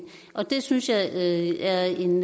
og det synes jeg er en